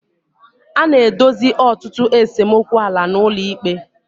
A na-edozi ọtụtụ esemokwu ala n'ụlọ ikpe.